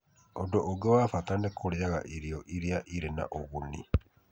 Ũndũ ũngĩ wa bata nĩ kũrĩaga irio iria irĩ na ũguni.